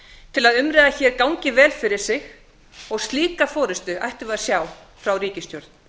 til að umræða hér gangi vel fyrir sig og slíka forustu ættum við ajsða frá ríkisstjórn